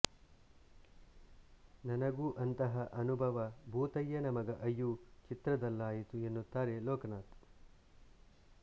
ನನಗೂ ಅಂತಹ ಅನುಭವ ಭೂತಯ್ಯನ ಮಗ ಅಯ್ಯು ಚಿತ್ರದಲ್ಲಾಯಿತು ಎನ್ನುತ್ತಾರೆ ಲೋಕನಾಥ್